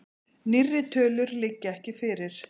Nýrri tölur liggja ekki fyrir.